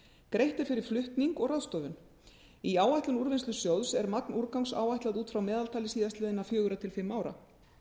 greitt er fyrir flutning og ráðstöfun í áætlun úrvinnslusjóðs er magn úrgangs áætlað út frá meðaltali síðastliðin fjögurra til fimm ára